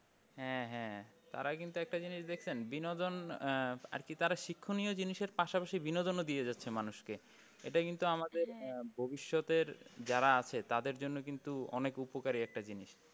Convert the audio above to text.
হ্যাঁ হ্যাঁ তার আগে কিন্তু একটা জিনিস দেখছেন বিনোদন আহ আর কি যারা শিক্ষণীয় জিনিসের পাশাপাশি বিনোদন ও দিয়ে যাচ্ছে মানুষকে এটা কিন্তু আমাদের ভবিষত্যের যারা আছে তাদের জন্য কিন্তু অনেক উপকারী একটা জিনিস।